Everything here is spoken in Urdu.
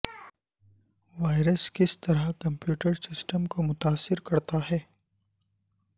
وائرس کس طرح کمپیوٹر سسٹم کو متاثر کرتا ہے